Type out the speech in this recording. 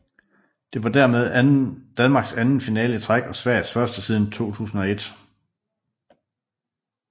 Det var dermed Danmarks anden finale i træk og Sveriges første siden 2001